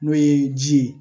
N'o ye ji ye